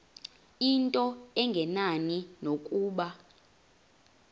into engenani nokuba